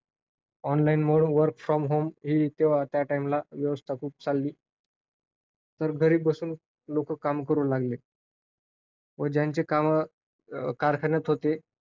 Online mode work from home ही त्या time ला व्यवस्था खूप चालली. तर घरी बसून लोकं काम करू लागले. ज्यांची कामं कारखान्यातून होते,